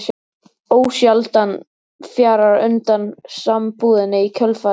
Ósjaldan fjarar undan sambúðinni í kjölfarið.